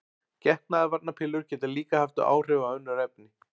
Getnaðarvarnarpillur geta líka haft áhrif á önnur efni.